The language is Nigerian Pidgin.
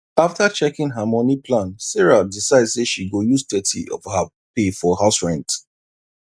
after checking her money plan sarah decide say she go use thirty of her pay for house rent